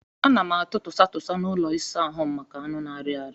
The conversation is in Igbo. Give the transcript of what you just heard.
A na m atụ tụsa tụsa n'ụlọ ịsa ahụ m maka anụ na-arị arị.